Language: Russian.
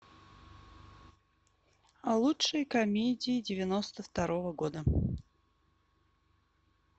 лучшие комедии девяносто второго года